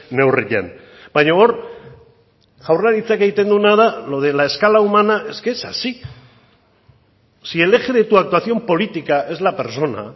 neurrian baina hor jaurlaritzak egiten duena da lo de la escala humana es que es así si el eje de tu actuación política es la persona